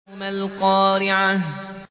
مَا الْقَارِعَةُ